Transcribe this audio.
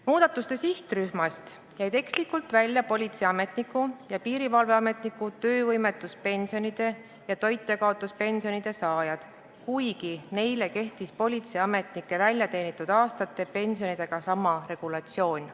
Muudatuste sihtrühmast jäid ekslikult välja politseiametniku ja piirivalveametniku töövõimetuspensioni ja toitjakaotuspensioni saajad, kuigi neile kehtis politseiametnike väljateenitud aastate pensioniga sama regulatsioon.